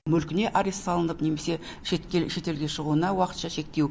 мүлкіне арест салынып немесе шетелге шығуына уақытша шектеу